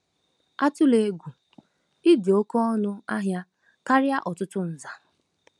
Atụla egwu; Ị dị oké ọnụ ahịa karịa ọtụtụ nza. ”